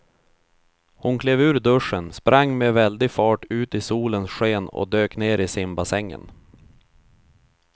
Hon klev ur duschen, sprang med väldig fart ut i solens sken och dök ner i simbassängen.